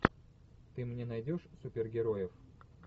ты мне найдешь супергероев